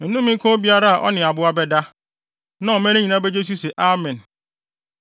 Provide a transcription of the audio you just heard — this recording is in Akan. “Nnome nka obiara a ɔne aboa bɛda.” Na ɔman no nyinaa begye so se, “Amen!”